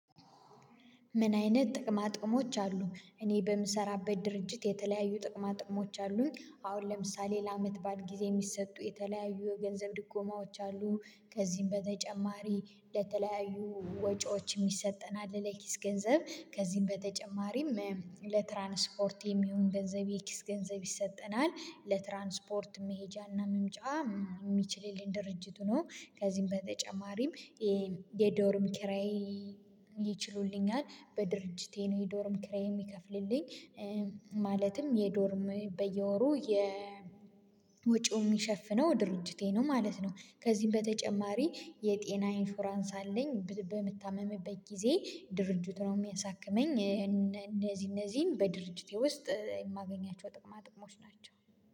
ምን አይነት ጥቅማ ጥቅሞች አሉ እኔ በምሰራበት ድርጅት የተለያዩ ጥቅማ ጥቅሞች አሉኝ አሁን ለምሳሌ ለአመት በዓል ጊዜ የሚሰጡ የተለያዩ የገንዘብ ድጎማዎች አሉ። ከዚህም በተጨማሪ ለተለያዩ ወጪዎች የሚሰጠን አለ። ለኪስ ገንዘብ ከዚህም በተጨማሪም ለትራንስፖርት የሚሆን ገንዘብ የኪስ ገንዘብ ይሰጠናል ለትራንስፖርት መሄጃና መምጫ የሚችልልን ድርጅት ሆኖ ከዚህም በተጨማሪም የዶርም ኪራይ ይችሉልኛል። በድርጅቴ ነው የዶርም ክሬም የሚከፍልልኝ። ማለትም የዶርም በየወሩ የወጪው የሚሸፍነው ድርጅቴ ነው ማለት ነው። ከዚህም በተጨማሪ የጤና ኢንሹራንስ አለኝ በምታመምበት ጊዜ ድርጅቱ ነው የሚያሳክመኝ። እነዚህ እነዚህን በድርጅቴ ውስጥ የማገኛቸው ጥቅማ ጥቅሞች ናቸው